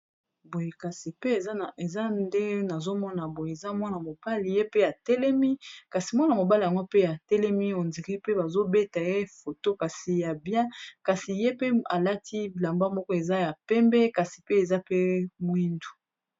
boye kasi pe eza nde nazomona boye eza mwana mopali ye pe ya telemi kasi mwana mobala yangwa pe ya telemi ondiri pe bazobeta ye foto kasi ya bia kasi ye pe alati bilamba moko eza ya pembe kasi pe eza pe moindu